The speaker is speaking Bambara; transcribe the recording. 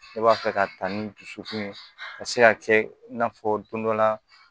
Ne b'a fɛ ka ta ni dusukun ye ka se ka kɛ i n'a fɔ don dɔ la